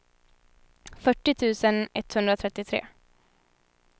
fyrtio tusen etthundratrettiotre